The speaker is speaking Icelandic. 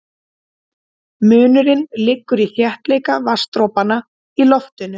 Munurinn liggur í þéttleika vatnsdropanna í loftinu.